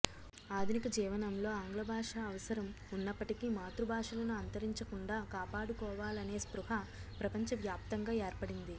ఆధునిక జీవనంలో ఆంగ్లభాష అవసరం ఉన్నప్పటికీ మాతృ భాషలను అంతరించకుండా కాపాడుకోవాలనే స్పృహ ప్రపంచ వ్యాప్తంగా ఏర్పడింది